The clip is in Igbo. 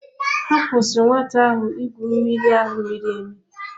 Ha kwụsịrị nwata ahụ igwu mmiri ahụ miri emi.